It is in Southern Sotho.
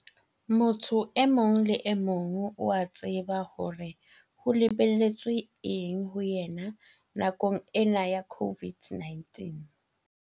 Motho e mong le emong o a tseba hore ho lebelletswe eng ho ena nakong ena ya COVID-19.